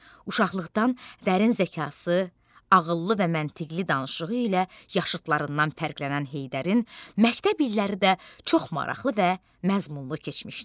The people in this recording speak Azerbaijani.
Uşaqlıqdan dərin zəkası, ağıllı və məntiqqli danışığı ilə yaşıdlarından fərqlənən Heydərin məktəb illəri də çox maraqlı və məzmunlu keçmişdi.